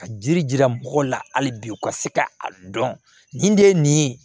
Ka jiri jira mɔgɔ la hali bi u ka se ka a dɔn nin de ye nin ye